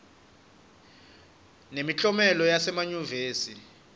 nemiklomelo yasema yunivesi